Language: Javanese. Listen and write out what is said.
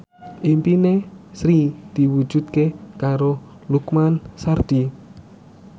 impine Sri diwujudke karo Lukman Sardi